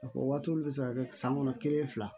A fɔ waati bɛ se ka kɛ san kɔnɔ kelen fila